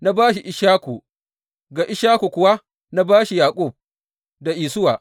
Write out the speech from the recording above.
Na ba shi Ishaku, ga Ishaku kuwa na ba shi Yaƙub da Isuwa.